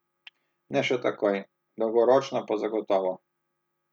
Ne še takoj, dolgoročno pa zagotovo.